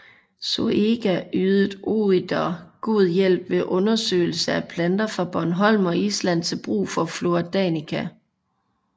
Zoëga ydede Oeder god hjælp ved undersøgelse af planter fra Bornholm og Island til brug for Flora Danica